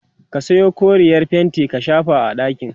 ka Sayo koreyar fainti a shafa a ɗakin